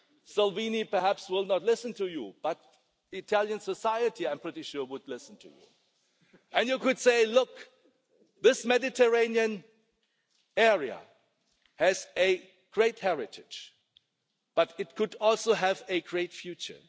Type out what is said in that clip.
Salvini will perhaps not listen to you but Italian society I am pretty sure would listen to you and you could say, look, this Mediterranean area has a great heritage, but it could also have a great future.